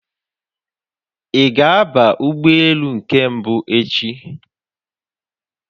Ị ga-aba ụgbọelu nke mbụ echi?